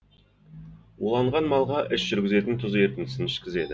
уланған малға іш жүргізетін тұз ерітіндісін ішкізеді